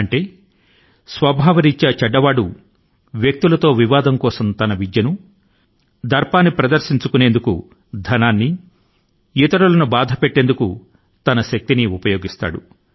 ఈ మాటల కు స్వభావ రీత్యా చెడ్డవాడు వ్యక్తుల తో వివాదం కోసం తన విద్య ను దర్పాన్ని ప్రదర్శించుకొనేందుకు ధనాన్ని మరియు ఇతరుల ను బాధపెట్టేందుకు తన శక్తి ని ఉపయోగిస్తాడు